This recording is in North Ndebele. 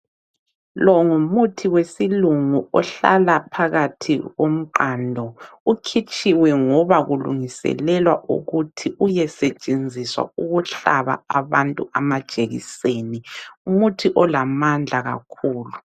Longumuthi wesilungu ohlala phakathi komqando. Ukhitshiwe ngoba kulungiselelwa ukuthi uyesetshenziswa ukuhlaba abantu amajekiseni. Ngumuntu olamandla kakhulu.